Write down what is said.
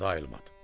Arvad ayılmadı.